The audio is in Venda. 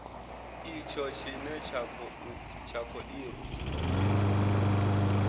itsho tshine tsha kho irwa